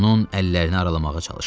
Onun əllərini aralamağa çalışdı.